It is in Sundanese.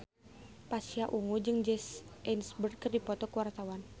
Pasha Ungu jeung Jesse Eisenberg keur dipoto ku wartawan